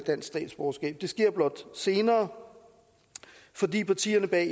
dansk statsborgerskab det sker blot senere fordi partierne bag